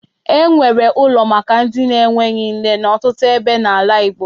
E nwere ụlo maka ndị enweghị nne n'ọtụtụ ebe n'ala Igbo.